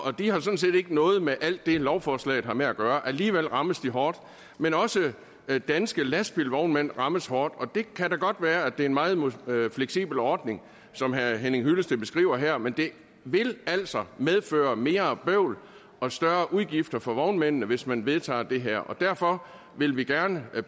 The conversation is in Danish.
og det har sådan set ikke noget med alt det lovforslaget har med at gøre alligevel rammes de hårdt men også danske lastbilvognmænd rammes hårdt det kan da godt være at det er en meget fleksibel ordning som herre henning hyllested beskriver her men det vil altså medføre mere bøvl og større udgifter for vognmændene hvis man vedtager det her derfor vil vi gerne